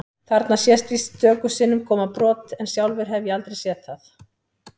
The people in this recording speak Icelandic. Þarna sést víst stöku sinnum koma brot en sjálfur hef ég aldrei séð það.